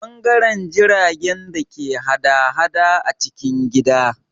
Ɓangaren jiragen da ke hada-hada a cikin gida